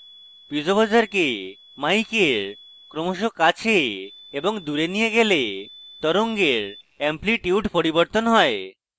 piezo buzzer কে mic এর ক্রমশ কাছে এবং দূরে নিয়ে গেলে তরঙ্গের এম্প্লিটিউড পরিবর্তন হয়